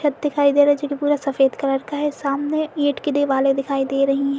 सब दिखाई दे रहा है जो कि पूरा सफेद कलर का है सामने ईट की दिवाले दिखाई दे रही ।